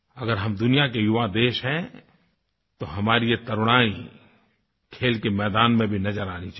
अगर हम दुनिया के युवा देश हैं तो हमारी ये तरुणाई खेल के मैदान में भी नज़र आनी चाहिए